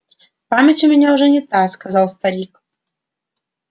память у меня уже не та сказал старик